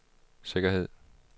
sikkerhed